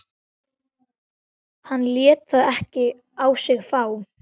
Hann lét það ekki á sig fá.